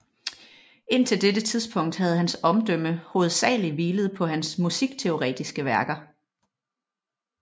Indtil dette tidspunkt havde hans omdømme hovedsagelig hvilet på hans musikteoretiske værker